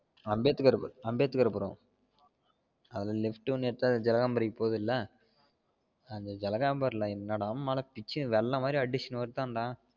Ambedkar Ambedkarpuram அதுல left வந்து ஜலகாம்பரி போகுதுல அது ஜலகாம்பரி ல என்னடா மழை பிச்சி வெள்ளம் மாதிரி அடிச்சுன்னு வருதான் டா